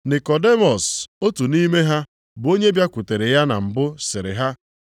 Nikọdimọs, otu nʼime ha bụ onye bịakwutere ya na mbụ sịrị ha,